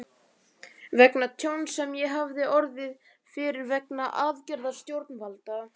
vegna tjóns sem ég hafði orðið fyrir vegna aðgerða stjórnvalda.